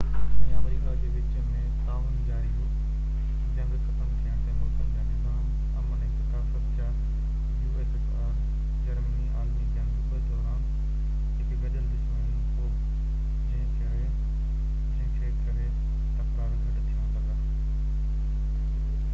Germany عالمي جنگ 2 دوران هڪ گڏيل دشمن هو جنهن کي ڪري ussr ۽ آمريڪا جي وچ ۾ تعاون جاري هو جنگ ختم ٿيڻ تي ملڪن جا نظام عمل ۽ ثقافت جا تڪرار گهٽ ٿيڻ لڳا